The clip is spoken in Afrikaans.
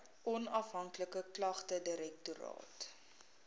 onafhanklike klagtedirektoraat